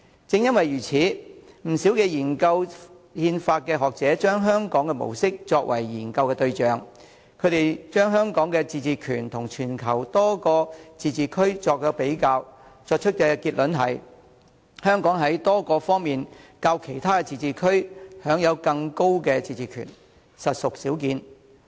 正因如此，不少研究憲法的學者把香港模式作為研究對象，把香港與全球多個自治區作比較，得出的結論是：香港在多方面較其他自治區享有更高的自治權，實屬少見。